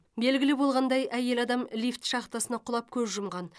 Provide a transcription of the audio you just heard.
белгілі болғандай әйел адам лифт шахтасына құлап көз жұмған